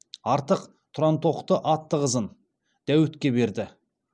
артық тұрантоқты атты қызын дәуітке берді